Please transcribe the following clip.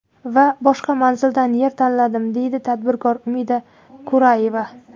Va boshqa manzildan yer tanladim”, deydi tadbirkor Umida Kurayeva.